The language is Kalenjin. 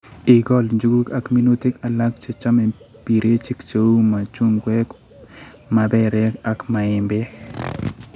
Igol njuguk ak minutik alak chechame birechik cheu machungwek, maperek ak maembek